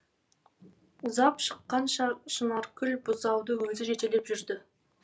ұзап шыққанша шынаркүл бұзауды өзі жетелеп жүрді